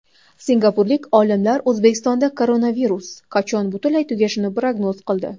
Singapurlik olimlar O‘zbekistonda koronavirus qachon butunlay tugashini prognoz qildi.